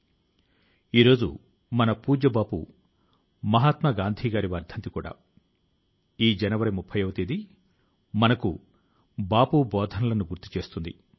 గత ఏడు సంవత్సరాలుగా మన మన్ కీ బాత్ మనసు లో మాట కార్యక్రమం కూడా వ్యక్తి యొక్క సమాజం యొక్క దేశం యొక్క మంచితనాన్ని ఎత్తిచూపుతోంది